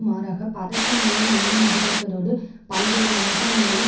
மாறாக பதட்ட நிலையை மேலும் அதிகரிப்பதோடு பல்வேறு மாகாணங்களிலும்